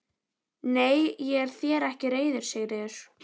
Nei, ég er þér ekki reiður Sigríður.